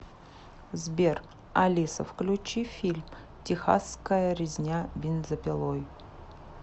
сбер алиса включи фильм техасская резня бензопилой